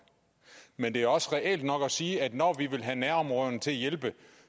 men det er også reelt nok at sige at når vi vil have nærområderne til at hjælpe